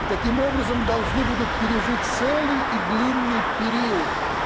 и таким образом должны будут пережить целый и длинный период